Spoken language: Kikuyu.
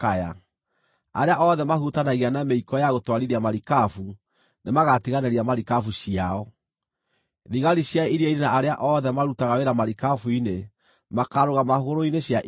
Arĩa othe mahutanagia na mĩiko ya gũtwarithia marikabu nĩmagatiganĩria marikabu ciao; thigari cia iria-inĩ na arĩa othe marutaga wĩra marikabu-inĩ makaarũgama hũgũrũrũ-inĩ cia iria.